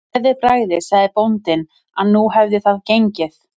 Með gleðibragði sagði bóndinn að nú hefði það gengið.